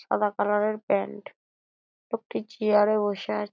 সাদা কালার -এর প্যান্ট লোকটি চেয়ার -এ বসে আছ--